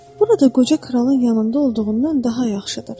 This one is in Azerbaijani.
Burada qoca kralın yanında olduğundan daha yaxşıdır.